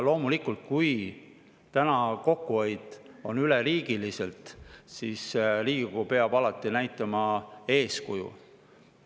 Kui täna on kokkuhoid üleriigiline, siis peab loomulikult Riigikogu alati näitama eeskuju.